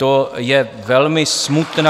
To je velmi smutná...